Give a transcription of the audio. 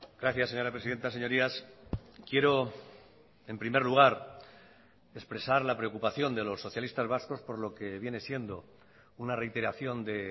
gracias señora presidenta señorías quiero en primer lugar expresar la preocupación de los socialistas vascos por lo que viene siendo una reiteración de